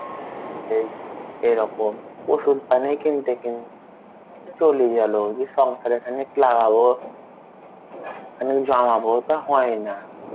এই এরকম ওষুধ পানি কিনতে চলে গেলো যে সংসার এ খানেক লাগাবো. আমি জানাবো তা হয় না.